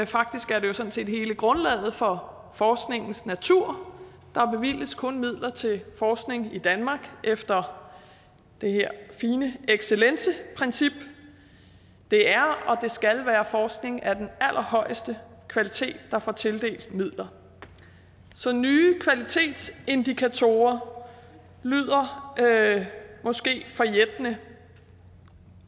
faktisk er det jo sådan set hele grundlaget for forskningens natur der bevilges kun midler til forskning i danmark efter det her fine excelenceprincip det er og det skal være forskning af den allerhøjeste kvalitet der får tildelt midler så nye kvalitetsindikatorer lyder måske forjættende